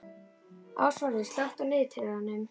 Ásvarður, slökktu á niðurteljaranum.